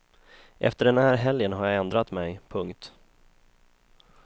Efter den här helgen har jag ändrat mig. punkt